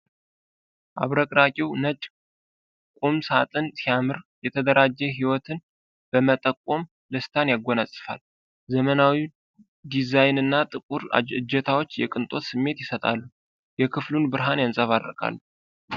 አብረቅራቂው ነጭ ቁም ሳጥን ሲያምር፣ የተደራጀ ህይወትን በመጠቆም ደስታን ያጎናጽፋል። ዘመናዊው ዲዛይን እና ጥቁር እጀታዎች የቅንጦት ስሜት ይሰጣሉ። የክፍሉን ብርሃን ያንጸባርቃል።